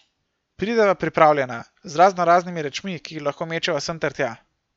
Prideva pripravljena, z raznoraznimi rečmi, ki jih lahko mečeva sem ter tja.